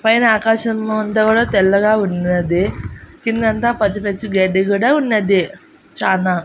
పైన ఆకాశము అంతా కూడా తెల్లగా ఉన్నది కిందంతా పచ్చిపచ్చి గడ్డి కూడా ఉన్నది చానా.